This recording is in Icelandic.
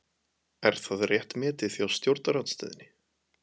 Er það rétt metið hjá stjórnarandstöðunni?